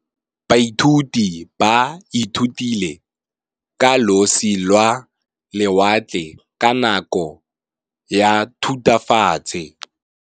Baithuti ba ithutile ka losi lwa lewatle ka nako ya Thutafatshe.